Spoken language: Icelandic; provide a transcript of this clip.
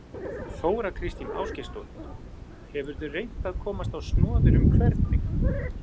Þóra Kristín Ásgeirsdóttir: Hefurðu reynt að komast á snoðir um hvernig?